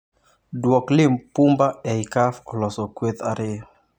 Duok Lipumba ei Cuf oloso kweth ariyo.